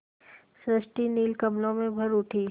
सृष्टि नील कमलों में भर उठी